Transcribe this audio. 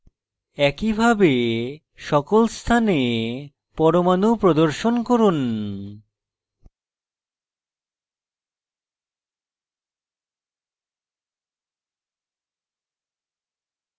একইভাবে সকল স্থানে পরমাণু প্রদর্শন করুন